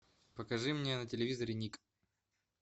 покажи мне на телевизоре ник